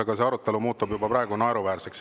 Aga see arutelu muutub praegu juba naeruväärseks.